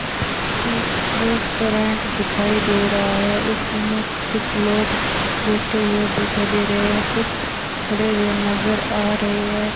एक रेस्टोरेंट दिखाई दे रहा है उसमें से कुछ लोग बैठे हुए दिखाई दे रहे हैं कुछ खड़े हुए नजर आ रहे है।